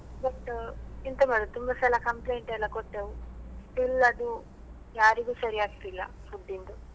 But ಎಂತ ಮಾಡುದು ತುಂಬ ಸಲ complaint ಎಲ್ಲ ಕೊಟ್ಟೆವು still ಅದು ಯಾರಿಗೂ ಸರಿ ಆಗ್ತಿಲ್ಲ food ಇಂದು.